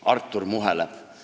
Artur muheleb.